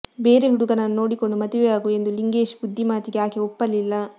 ಬೇರೆ ಹುಡುಗನನ್ನು ನೋಡಿಕೊಂಡು ಮದುವೆಯಾಗು ಎಂದು ಲಿಂಗೇಶ್ ಬುದ್ಧಿ ಮಾತಿಗೆ ಆಕೆ ಒಪ್ಪಲಿಲ್ಲ